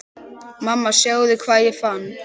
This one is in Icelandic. Mamma sjáðu hvað ég fann!